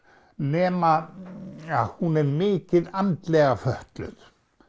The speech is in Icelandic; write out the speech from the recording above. nema að hún er mikið andlega fötluð